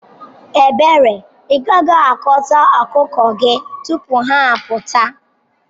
Ebere, igaghi-aguta okuko gi tupu ha aputa.